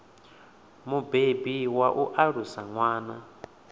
mubebi wa u alusa ṅwana